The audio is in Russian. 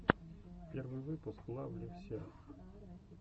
первый выпуск лав лив серв